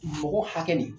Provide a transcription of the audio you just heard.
Mɔgɔ hakɛ nin